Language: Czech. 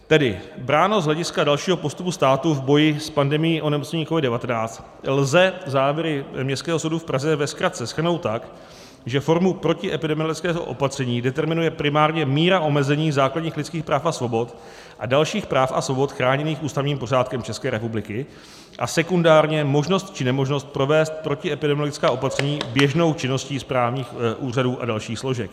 Tedy bráno z hlediska dalšího postupu státu v boji s pandemií onemocnění COVID-19 lze závěry Městského soudu v Praze ve zkratce shrnout tak, že formu protiepidemiologického opatření determinuje primárně míra omezení základních lidských práv a svobod a dalších práv a svobod chráněných ústavním pořádkem České republiky a sekundárně možnost či nemožnost provést protiepidemiologická opatření běžnou činností správních úřadů a dalších složek.